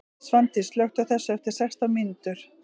Svandís, slökktu á þessu eftir sextán mínútur.